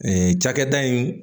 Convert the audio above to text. cakɛda in